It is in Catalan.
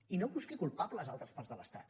i no busqui culpables a altres parts de l’estat